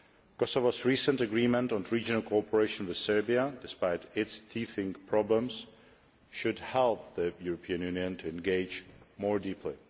Kosovo's recent agreement on regional cooperation with Serbia, despite its teething problems, should help the European Union to engage more deeply.